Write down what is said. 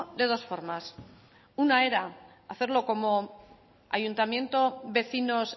de dos formas una era hacerlo como ayuntamiento vecinos